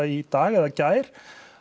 í dag eða gær